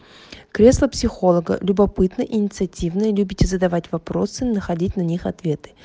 кресло психолога любопытны инициативны любите задавать вопросы находить на них ответы